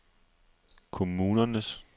kommunernes